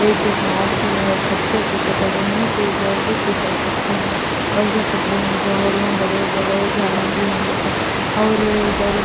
ایک جہاد بھی ہے اور پتھر اتنے بڑے ہے کی ادھر بھی فصل سکتے ہے اور اسے پترے ہے جوہر ہے۔ بڑے-بڑے جھادہ بھی ہے دیکھو اور ادھر --